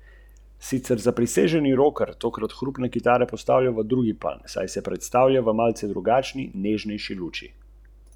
Inštruktorji in inštruktorice vožnje, posebej tisti z velikim libidom, bodo na Nizozemskem končno prišli na svoj račun.